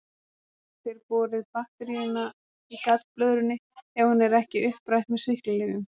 geta þeir borið bakteríuna í gallblöðrunni ef hún er ekki upprætt með sýklalyfjum